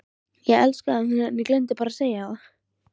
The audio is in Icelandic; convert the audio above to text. Ég elskaði hann en ég gleymdi bara að segja það.